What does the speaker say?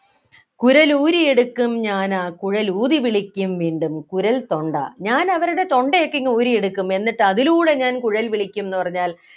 കുരലൂരിയെടുക്കും ഞാനാക്കുഴലൂതി വിളിക്കും വീണ്ടും കുരൽ തൊണ്ട ഞാൻ അവരുടെ തൊണ്ടയൊക്കെ ഇങ്ങു ഊരിയെടുക്കും എന്നിട്ട് അതിലൂടെ ഞാൻ കുഴൽ വിളിക്കും എന്ന് പറഞ്ഞാൽ